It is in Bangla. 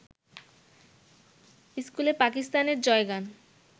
ইস্কুলে পাকিস্তানের জয়গান